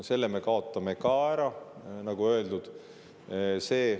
Selle me kaotame ka ära, nagu öeldud.